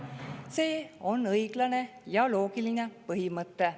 See on õiglane ja loogiline põhimõte.